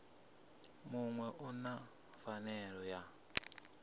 muṅwe u na pfanelo ya